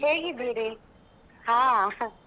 ಹೇಗಿದ್ದೀರಿ ಹಾ .